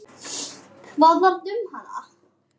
Hvað varð um hana?